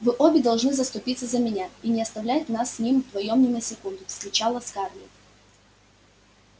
вы обе должны заступиться за меня и не оставлять нас с ним вдвоём ни на секунду вскричала скарлетт